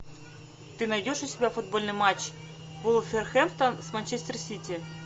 ты найдешь у себя футбольный матч вулверхэмптон с манчестер сити